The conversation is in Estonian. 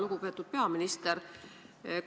Lugupeetud peaminister!